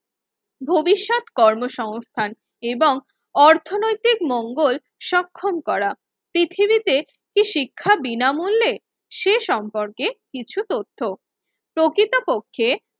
ভবিষ্যৎ কর্মসংস্থান এবং অর্থনৈতিক মঙ্গল সক্ষম করা। পৃথিবীতে কি শিক্ষা বিনামূল্যে সে সম্পর্কে কিছু তথ্য, প্রকৃতপক্ষে